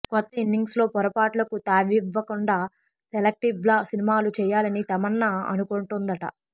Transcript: కొత్త ఇన్నింగ్స్లో పొరపాట్లకు తావివ్వకుండా సెలక్టివ్గా సినిమాలు చేయాలని తమన్నా అనుకుంటోందట